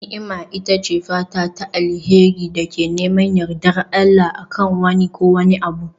Ni'ima ita ce fata ta alheri da ke neman yardar Allah, a kan wani ko wani abu.